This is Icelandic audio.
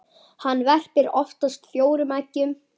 Hann verpir oftast fjórum eggjum.